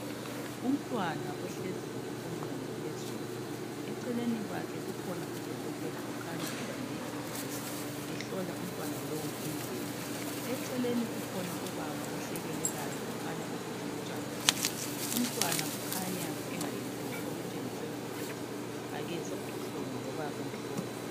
Umntwana ohleziyo onquni phezulu. Eceleni kwakhe kukhona udokotela okhanya ebambe ithulusi ehlola umntwana lowu indlebe. Eceleni kukhona ubaba ohlekelelayo okhanya ukuthi ujabulile. Umntwana kukhanya engayethuki okutshengisela ukuthi akezwa ubuhlungu loba bemhlola.